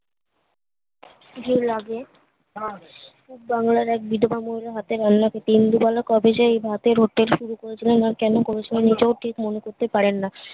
জের লাগে বাংলার এক বিধবা মহিলা হাতে রান্না কে তিন বিঘা লোক কবে সেই ভাতের hotel শুরু করেছিলেন আর কোনো করেছিলেন নিজেও ঠিক মনে করতে পারেন না